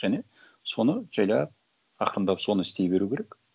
және соны жайлап ақырындап соны істей беру керек